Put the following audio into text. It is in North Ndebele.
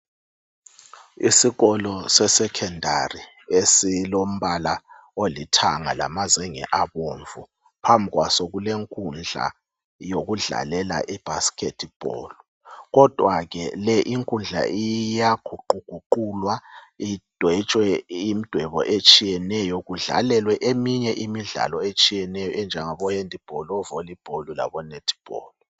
Isikolo se Secondary esilombala olithanga lamazenge abomvu .Phambi kwaso kulenkundla yokudlalela i basketball .Kodwa ke le inkundla iyaguquguqulwe idwetshwe imdwebo etshiyeneyo kudlalelwe eminye imidlalo etshiyeneyo enjengabo handball , o volleyball labo netball